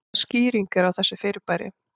Hvaða skýring er á þessu fyrirbæri?